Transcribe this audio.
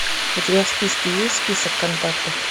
у тебя в списке есть список контактов